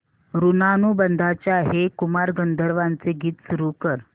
ऋणानुबंधाच्या हे कुमार गंधर्वांचे गीत सुरू कर